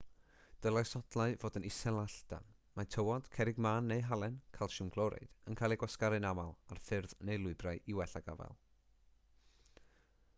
dylai sodlau fod yn isel a llydan. mae tywod cerrig mân neu halen calsiwm clorid yn cael eu gwasgaru'n aml ar ffyrdd neu lwybrau i wella gafael